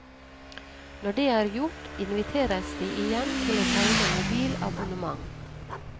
Når det er gjort, inviteres de igjen til å tegne mobilabonnement.